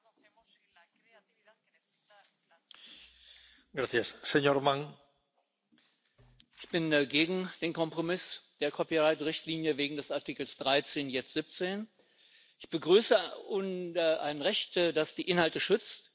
Herr Präsident! Ich bin gegen den Kompromiss der Copyright Richtlinie wegen des Artikels 13, jetzt 17. Ich begrüße ein Recht, das die Inhalte schützt, Künstler, Autoren, Musiker, Journalisten angemessen honoriert.